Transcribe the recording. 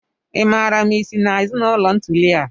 Ị maara ma ị si na ezinụlọ nuklia?